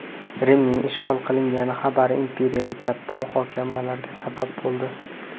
Rimning ishg‘ol qilingani xabari imperiyada katta muhokamalarga sabab bo‘ldi.